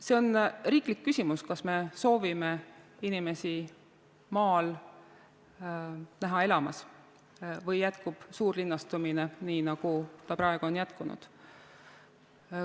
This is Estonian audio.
See on riiklik küsimus, kas me soovime näha inimesi maal elamas või jätkub suurlinnastumine, nii nagu see praegu on jätkunud.